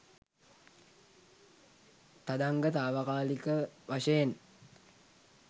තදංග තාවකාලික වශයෙන්